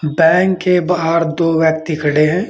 Bank के बाहर दो व्यक्ति खड़े हैं।